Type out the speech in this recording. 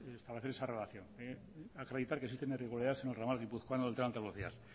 establecer esa relación acreditar que existen irregularidades en el entramado guipuzcoano del tren de alta velocidad